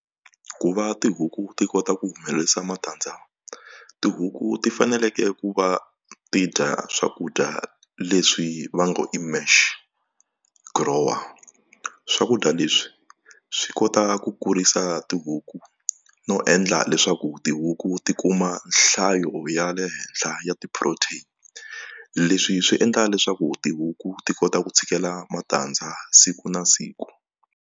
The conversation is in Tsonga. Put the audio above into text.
Ku va tihuku ti kota ku humelerisa matandza tihuku ti faneleke ku va ti dya swakudya leswi va ngo i mash grower swakudya leswi swi kota ta ku kurisa tihuku no endla leswaku tihuku ti kuma nhlayo ya le henhla ya ti-protein leswi swi endla leswaku tihuku ti kota ku tshikela matandza siku na siku.